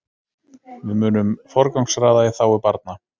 Við munum forgangsraða í þágu barna